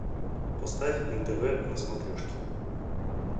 поставь нтв на смотрешке